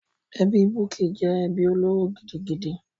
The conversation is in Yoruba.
Ẹbí Bukky jẹ́ ẹbí olóró gidigidi.